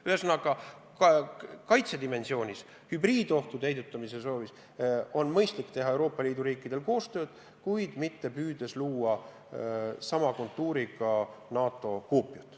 Ühesõnaga, kui tegu on kaitsedimensiooniga, hübriidohtudega, siis on Euroopa Liidu riikidel heidutamispoliitikat ellu viies mõistlik teha koostööd, kuid mitte püüdes luua NATO koopiat.